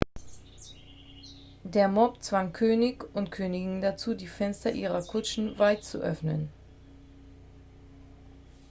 der mob zwang könig und königin dazu die fenster ihrer kutschen weit zu öffnen